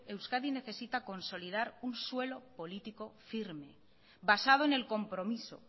euskadi necesita consolidar un suelo político firme basado en el compromiso